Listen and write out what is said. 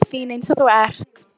Ég býst við því, svaraði Lóa.